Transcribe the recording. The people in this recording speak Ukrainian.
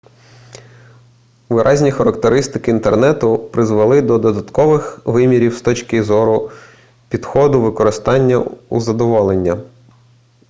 виразні характеристики інтернету призвели до додаткових вимірів з точки зору підходу використання і задоволення